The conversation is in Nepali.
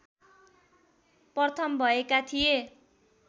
प्रथम भएका थिए